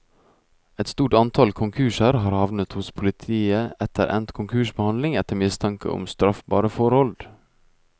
Et stort antall konkurser har havnet hos politiet etter endt konkursbehandling etter mistanke om straffbare forhold.